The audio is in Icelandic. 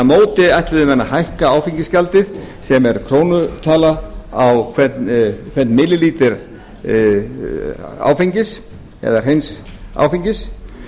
móti ætluðu menn að hækka áfengisgjaldið sem er krónutala á hvern millilítra áfengis eða hreins áfengis